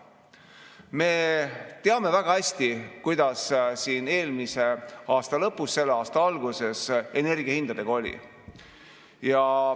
Me teame väga hästi, kuidas siin eelmise aasta lõpus ja selle aasta alguses energiahindadega oli.